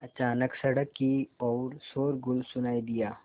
अचानक सड़क की ओर शोरगुल सुनाई दिया